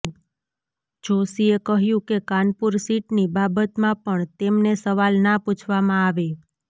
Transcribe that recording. જોશીએ કહ્યું કે કાનપુર સીટની બાબતમાં પણ તેમને સવાલ ના પૂછવામાં આવે